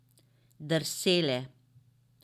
Drsele.